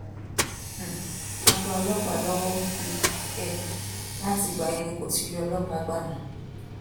um a gba ọlọpàá lọwọ um ẹ láti ìgbà yẹn ni kò ti rí ọlọpàá gbà mọ